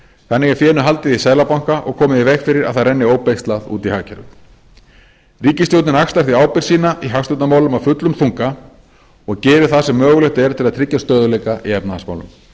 þannig er fénu haldið í seðlabanka og komið í veg fyrir að það renni óbeislað út í hagkerfið ríkisstjórnin axlar því ábyrgð sína í hagstjórnarmálum af fullum þunga og gerir það sem mögulegt er til að tryggja stöðugleika í efnahagsmálum